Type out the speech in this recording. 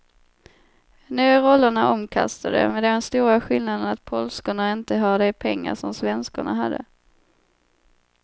Nu är rollerna omkastade, med den stora skillnaden att polskorna inte har de pengar som svenskorna hade.